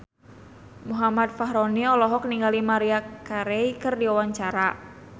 Muhammad Fachroni olohok ningali Maria Carey keur diwawancara